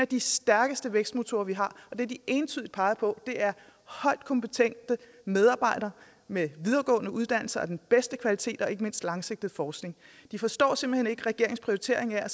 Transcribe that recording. de stærkeste vækstmotorer vi har og det de entydigt peger på er højt kompetente medarbejdere med videregående uddannelser den bedste kvalitet og ikke mindst langsigtet forskning de forstår simpelt hen ikke regeringens prioritering af